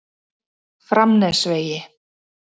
Framnesvegi